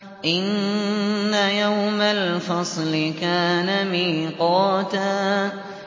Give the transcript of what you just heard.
إِنَّ يَوْمَ الْفَصْلِ كَانَ مِيقَاتًا